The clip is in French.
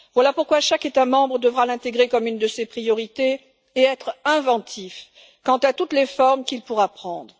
Voilà pourquoi chaque État membre devra l'intégrer comme une de ses priorités et être inventif quant à toutes les formes qu'il pourra prendre.